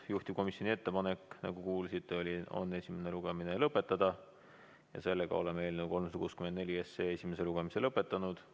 Juhtivkomisjoni ettepanek, nagu kuulsite, on esimene lugemine lõpetada ja sellega oleme eelnõu 364 esimese lugemise lõpetanud.